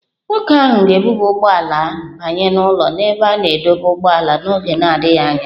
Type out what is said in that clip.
Nwoke ahụ ga-ebuba ụgbọ ala ya banye n'ụlọ ebe a na-adọba ụgbọala n'oge na-adịghị anya.